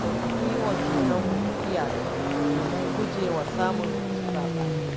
Mukan yi wa junanmu iyaka domin guje wa samun saɓani